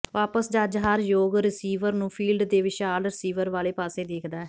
ਵਾਪਸ ਜੱਜ ਹਰ ਯੋਗ ਰੀਸੀਵਰ ਨੂੰ ਫੀਲਡ ਦੇ ਵਿਸ਼ਾਲ ਰਸੀਵਰ ਵਾਲੇ ਪਾਸੇ ਦੇਖਦਾ ਹੈ